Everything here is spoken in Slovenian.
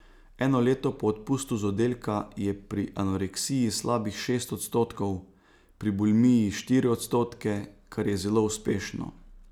Eno leto po odpustu z oddelka je pri anoreksiji slabih šest odstotkov, pri bulimiji štiri odstotke, kar je zelo uspešno.